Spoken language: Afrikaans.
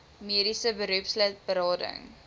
mediese beroepslid berading